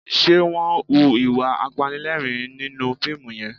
Ṣe wọ́n ń hu ìwà apanilẹ́rìn-ín nínú fíìmù yẹn?